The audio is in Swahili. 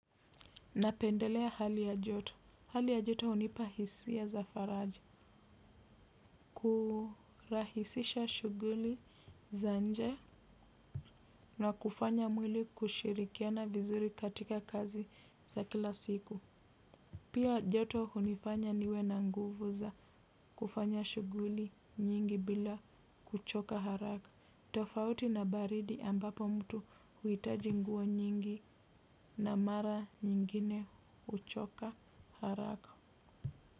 Napendelea hali ya joto. Hali ya joto hunipa hisia za faraja kurahisisha shughuli za nje na kufanya mwili kushirikiana vizuri katika kazi za kila siku. Pia joto hunifanya niwe na nguvu za kufanya shughuli nyingi bila kuchoka haraka tofauti na baridi ambapo mtu huitaji nguo nyingi na mara nyingine kuchoka haraka.